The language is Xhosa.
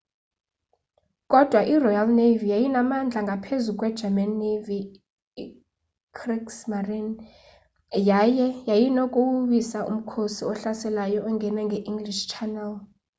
kodwa iroyal navy yayinamandla ngaphezu kwegerman navy kriegsmarine” yaye yayinokuwoyisa umkhosi ohlaselayo ongena nge-english channel